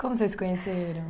Como vocês se conheceram?